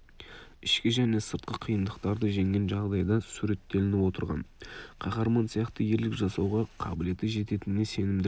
ішкі және сыртқы қиындықтарды жеңген жағдайда суреттелініп отырған қаһарман сияқты ерлік жасауға қабілеті жететініне сенімділік